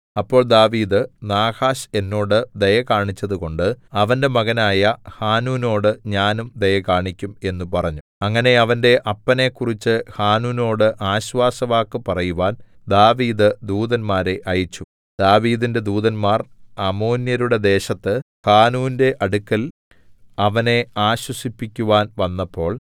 അപ്പോൾ ദാവീദ് നാഹാശ് എന്നോട് ദയ കാണിച്ചതുകൊണ്ട് അവന്റെ മകനായ ഹാനൂനോട് ഞാനും ദയ കാണിക്കും എന്നു പറഞ്ഞു അങ്ങനെ അവന്റെ അപ്പനെക്കുറിച്ചു ഹാനൂനോട് ആശ്വാസവാക്കു പറയുവാൻ ദാവീദ് ദൂതന്മാരെ അയച്ചു ദാവീദിന്റെ ദൂതന്മാർ അമ്മോന്യരുടെ ദേശത്ത് ഹാനൂന്റെ അടുക്കൽ അവനെ ആശ്വസിപ്പിക്കുവാൻ വന്നപ്പോൾ